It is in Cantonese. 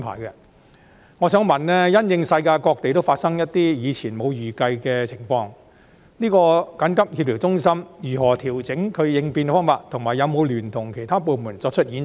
因應世界各地均有發生一些以前沒有預計的情況，我想問調協中心如何調整應變方法，以及有否聯同其他部門進行演習？